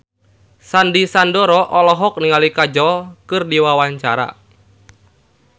Sandy Sandoro olohok ningali Kajol keur diwawancara